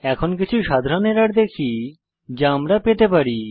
এখন কিছু সাধারণ এরর দেখি যা আমরা পেতে পারি